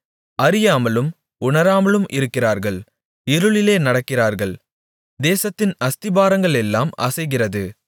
அறியாமலும் உணராமலும் இருக்கிறார்கள் இருளிலே நடக்கிறார்கள் தேசத்தின் அஸ்திபாரங்களெல்லாம் அசைகிறது